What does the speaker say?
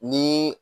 Ni